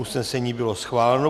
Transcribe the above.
Usnesení bylo schváleno.